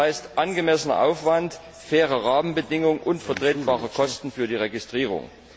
Das heißt angemessener Aufwand, faire Rahmenbedingungen und vertretbare Kosten für die Registrierung.